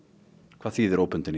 hvað þýðir óbundin